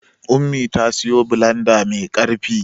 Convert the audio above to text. Ummi ta siyo bilanda mai ƙarfi.